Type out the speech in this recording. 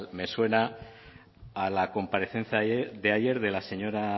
me suena a la comparecencia de ayer de la señora